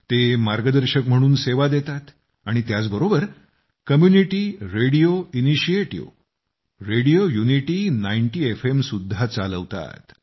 ते मार्गदर्शक म्हणून सेवा देतात आणि त्याच बरोबर community radio initiative radio unity 90 F M सुद्धा चालवतात